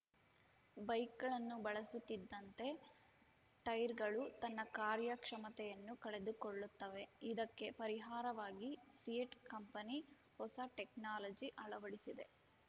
ಬೈಕ್‌ಗಳನ್ನು ಬಳಸುತ್ತಿದ್ದಂತೆ ಟೈರ್‌ಗಳು ತನ್ನ ಕಾರ್ಯ ಕ್ಷಮತೆಯನ್ನು ಕಳೆದುಕೊಳ್ಳುತ್ತವೆ ಇದಕ್ಕೆ ಪರಿಹಾರವಾಗಿ ಸಿಯೆಟ್ ಕಂಪನಿ ಹೊಸ ಟೆಕ್ನಾಲಜಿ ಅಳವಡಿಸಿದೆ